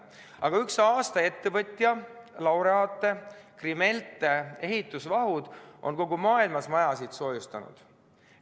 Aga üks aasta ettevõtja laureaate, Krimelte, kes tegeleb ehitusvahuga, on kogu maailmas majasid soojustanud.